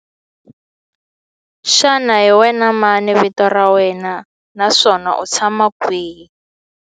Xana hi wena mani vito ra wena naswona u tshama kwihi?